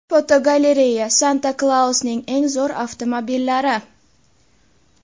Fotogalereya: Santa Klausning eng zo‘r avtomobillari.